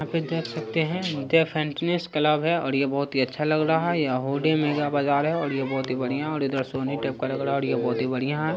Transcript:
यहाँ पे देख सकते हैं ये थ फिटनेस क्लब हैंओर ये बहुत ही अच्छा लग रहा हैंये बाजार हैं ओर ये बहुत ही बढ़िया ओर इधर सोने के टाइप का लग रहा हैंओर ये बहुत ही बढ़िया हैं